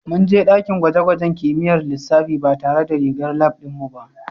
Mun je dakin gwaje-gwajen kimiyyar lissafi ba tare da rigar lab ɗin mu ba